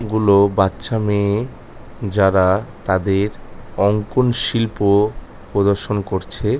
গুলো বাচ্চা মেয়ে যারা তাদের অঙ্কন শিল্প প্রদর্শন করছে।